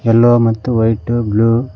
yellow ಮತ್ತು white blue --